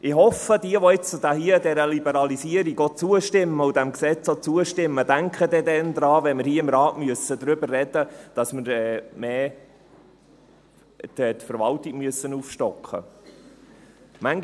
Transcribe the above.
Ich hoffe, dass alle, die der Liberalisierung zustimmen und diesem Gesetz zustimmen, daran denken, wenn wir im Rat darüber sprechen müssen, dass wir die Verwaltung aufstocken müssen.